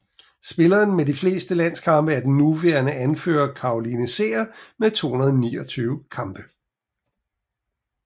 Spilleren med flest landskampe er den nuværende anfører Caroline Seger med 229 kampe